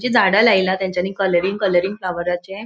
जी झाड़ा लायला तेन्चानी कलरींग कलरींग फ्लावराचे --